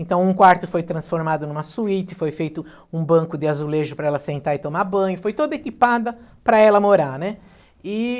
Então um quarto foi transformado numa suíte, foi feito um banco de azulejo para ela sentar e tomar banho, foi toda equipada para ela morar, né?